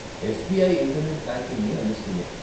SBI internet బ్యాంకింగ్ని అందిస్తుంది.